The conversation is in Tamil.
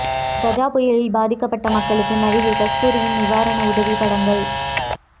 கஜா புயலில் பாதிக்கப்பட்ட மக்களுக்கு நடிகை கஸ்தூரியின் நிவாரண உதவி படங்கள்